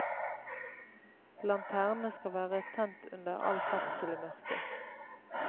Lanterne skal være tent under all ferdsel i mørket.